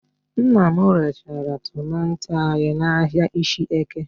Nna m rechara tomanto ya n'ahịa Ishieke